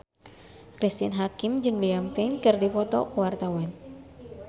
Cristine Hakim jeung Liam Payne keur dipoto ku wartawan